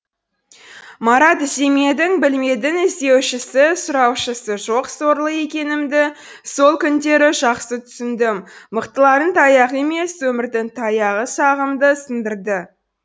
марат іздемедің білмедің іздеушісі сұраушысы жоқ сорлы екенімді сол күндері жақсы түсіндім мықтылардың таяғы емес өмірдің таяғы сағымды сындырды